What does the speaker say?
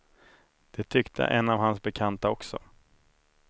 Det tyckte en av hans bekanta också.